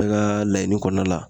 Bɛɛ ka laɲini kɔnɔna la